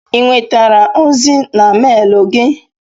I nwetere ozi na melu gi?